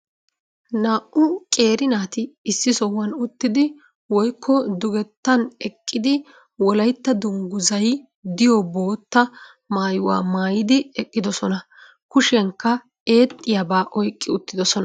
naa'u qeeri naati issi sohuwan uttidi woykko dugettan eqqidi wolaytta danguzzay diyo bootta maayuwa maayidi ewqidosona. kushiyankka eexxiyaba oyqqi uttidosona